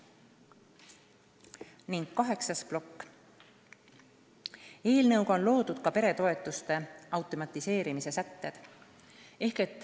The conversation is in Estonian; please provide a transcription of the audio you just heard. Ning kaheksas plokk: eelnõus on olemas ka peretoetuste automatiseerimise sätted.